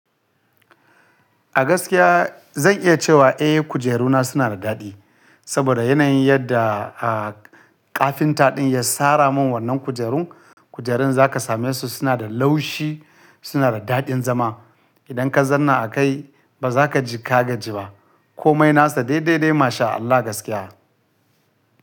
A gaskiya zan iya cewa eh kujeruna suna da daɗi, saboda yanayin yadda, ah, kafinta ɗin ya sara min wannan kujerun. Kujerun za ka same su suna da laushi, suna da daɗin zama. Idan ka zanna a kai ba za ka ji kaga ji ba. Komai nasa dai dai dai masha Allah gaskiya.